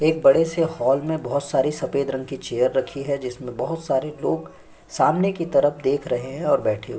एक बड़े से हॉल में बहुत सारी सफ़ेद रंग की चेयर रखी है जिसमे बहुत सारे लोग सामने की तरफ देख रहे है और बैठे हु --